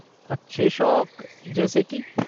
अच्छे शौक, जैसे कि?